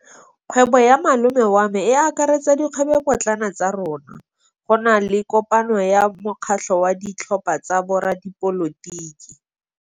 Kgwêbô ya malome wa me e akaretsa dikgwêbôpotlana tsa rona. Go na le kopanô ya mokgatlhô wa ditlhopha tsa boradipolotiki.